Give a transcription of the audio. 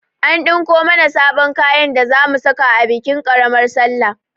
An ɗinko mana sabon kayan da zamu saka a bikin ƙaramar salla